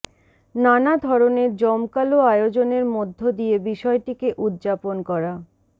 নানা ধরনের জমকালো আয়োজনের মধ্য দিয়ে বিষয়টিকে উদ্যাপন করা